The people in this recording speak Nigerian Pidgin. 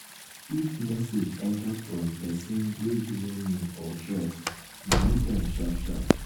if message enter from person wey you no know or trust delete am sharp sharp